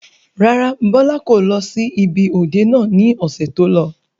Rárá, Bọlá kò lọ sí ibi òde náà ni ọ̀sẹ̀ tó lọ.